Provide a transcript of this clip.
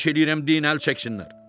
Xahiş eləyirəm, deyin əl çəksinlər!